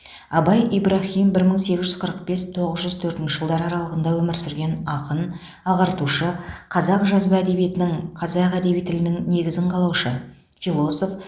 абай ибраһим бір мың сегіз жүз қырық бес тоғыз жүз төртінші жылдары аралығында өмір сүрген ақын ағартушы қазақ жазба әдебиетінің қазақ әдеби тілінің негізін қалаушы